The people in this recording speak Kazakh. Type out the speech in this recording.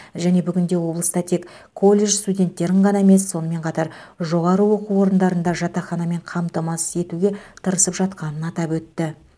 және бүгінде облыста тек колледж студенттерін ғана емес сонымен қатар жоғары оқу орындарын да жатақханамен қамтамасыз етуге тырысып жатқанын атап өтті